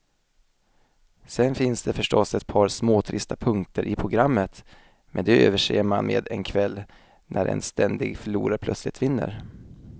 Sen finns det förstås ett par småtrista punkter i programmet, men de överser man med en kväll när en ständig förlorare plötsligt vinner.